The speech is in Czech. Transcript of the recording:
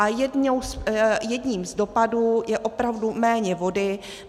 A jedním z dopadů je opravdu méně vody.